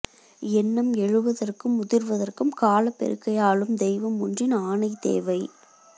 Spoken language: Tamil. எண்ணம் எழுவதற்கும் உதிர்வதற்கும் காலப்பெருக்கை ஆளும் தெய்வமொன்றின் ஆணை தேவை